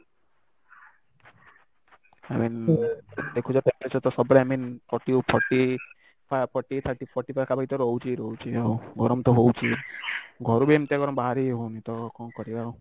i mean ଦେଖୁଛ ସତରେ i mean forty forty ଆ forty thirty forty ପାଖାପାଖି ତ ରହୁଛି ଆଉ ଗରମ ତ ହଉଛି ଘରୁ ବି ଏମିତିଆ ଗରମ ବାହାରି ହି ହଉନି ତ କଣ କରିବା ଆଉ